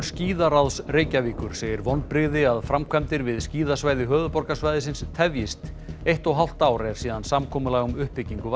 skíðaráðs Reykjavíkur segir vonbrigði að framkvæmdir við skíðasvæði höfuðborgarsvæðisins tefjist eitt og hálft ár er síðan samkomulag um uppbyggingu